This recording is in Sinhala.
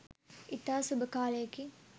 ඉතා සුබ කාලයකි.